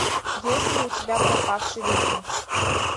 есть ли у тебя пропавший викинг